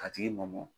A tigi mɔmɔ